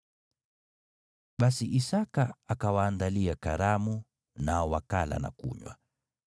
Basi Isaki akawaandalia karamu, nao wakala na kunywa.